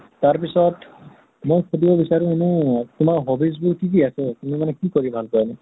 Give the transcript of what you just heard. তাৰ পিছত, মই সুধিব বিচাৰোঁ এনে এহ তোমাৰ hobbies বোৰ কি কি আছে? তুমি মানে কি কৰি ভাল পোৱা এনে?